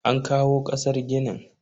An kawo kasar ginin.